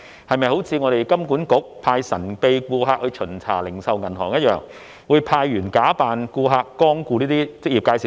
是否好像香港金融管理局一樣，派神秘顧客巡查零售銀行，即派員假扮顧客光顧這些職業介紹所？